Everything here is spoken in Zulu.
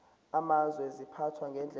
amazwe ziphathwa ngendlela